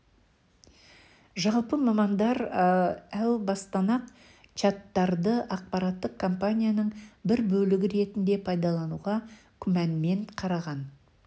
жалпы мамандар әу бастан-ақ чаттарды ақпараттық компанияның бір бөлігі ретінде пайдалануға күмәнмен қараған